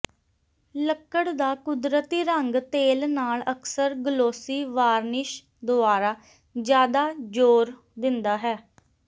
ਲੱਕੜ ਦਾ ਕੁਦਰਤੀ ਰੰਗ ਤੇਲ ਨਾਲ ਅਕਸਰ ਗਲੋਸੀ ਵਾਰਨਿਸ਼ ਦੁਆਰਾ ਜਿਆਦਾ ਜ਼ੋਰ ਦਿੰਦਾ ਹੈ